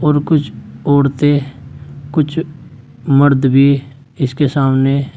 ऐसे कुछ औरतें कुछ मर्द भी इसके सामने--